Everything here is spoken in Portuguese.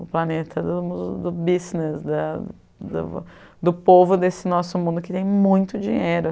O planeta do... do business, da... do do povo desse nosso mundo que tem muito dinheiro.